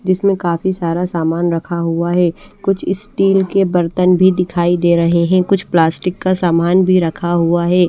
जिसमें काफी सारा सामान रखा हुआ है कुछ स्टील के बर्तन भी दिखाई दे रहे है कुछ प्लास्टिक का सामान भी रखा हुआ है।